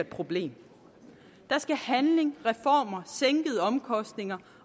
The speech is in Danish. problem der skal handling reformer sænkede omkostninger